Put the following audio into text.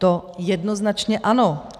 To jednoznačně ano.